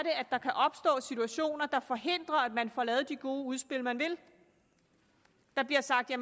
der kan opstå situationer der forhindrer at man får lavet de gode udspil man vil der bliver sagt at